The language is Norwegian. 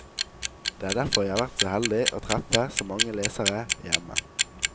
Det er derfor jeg har vært så heldig å treffe så mange lesere hjemme.